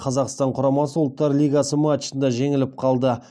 қазақстан құрамасы ұлттар лигасы матчында жеңіліп қалды